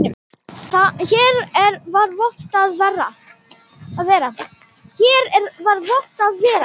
Hér var vont að vera.